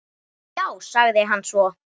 Já, sagði hann svo.